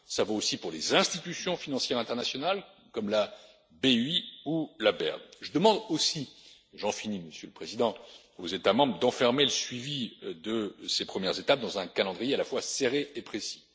européens cela vaut aussi pour les institutions financières internationales, comme la BEI ou la BERD. Je demande aussi j'en finis, Monsieur le Président aux États membres d'enfermer le suivi de ces premières étapes dans un calendrier à la fois serré